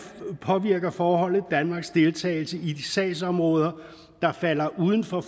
påvirker forbeholdet danmarks deltagelse i de sagsområder der falder uden for